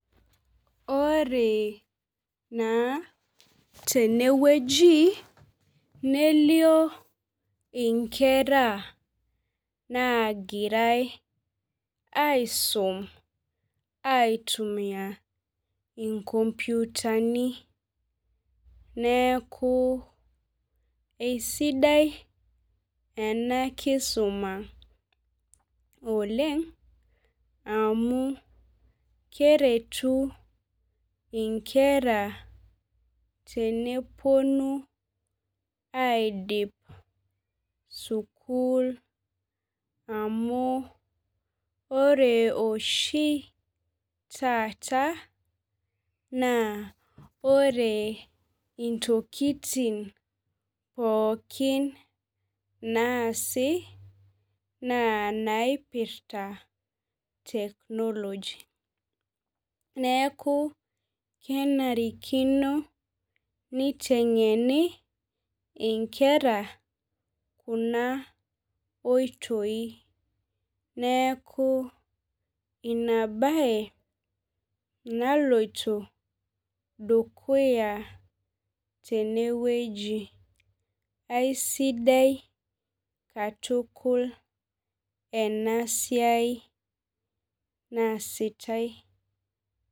Ore naa tenewueji nelio inkera nagirai aisum aitumiabinkomputani neaku esidai enakisuma oleng amu keretu inkera teneponu aidip sukul amu ore oshi taata naa ore intokitin pooki anaasi na naipirta technology neaku kenarikino nitengeni nkera kuna oitoi neaku inabae naloito dukuya tenewueji aisidai katukul enasiai naasitae.